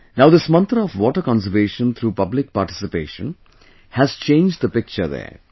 Now this mantra of "Water conservation through public participation" has changed the picture there